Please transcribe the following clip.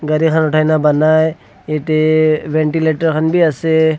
jatte ventilator khan bhi ase.